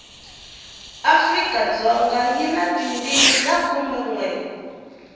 afrikadzoga yi na tindimi ta khumenwe